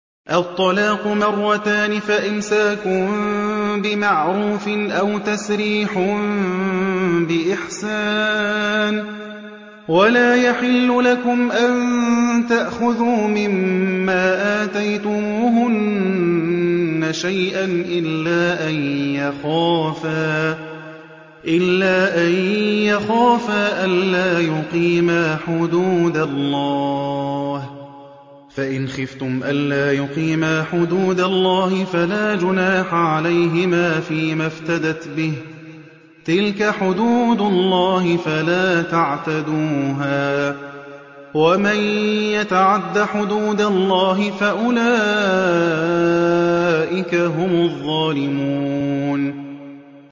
الطَّلَاقُ مَرَّتَانِ ۖ فَإِمْسَاكٌ بِمَعْرُوفٍ أَوْ تَسْرِيحٌ بِإِحْسَانٍ ۗ وَلَا يَحِلُّ لَكُمْ أَن تَأْخُذُوا مِمَّا آتَيْتُمُوهُنَّ شَيْئًا إِلَّا أَن يَخَافَا أَلَّا يُقِيمَا حُدُودَ اللَّهِ ۖ فَإِنْ خِفْتُمْ أَلَّا يُقِيمَا حُدُودَ اللَّهِ فَلَا جُنَاحَ عَلَيْهِمَا فِيمَا افْتَدَتْ بِهِ ۗ تِلْكَ حُدُودُ اللَّهِ فَلَا تَعْتَدُوهَا ۚ وَمَن يَتَعَدَّ حُدُودَ اللَّهِ فَأُولَٰئِكَ هُمُ الظَّالِمُونَ